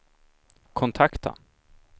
kontakta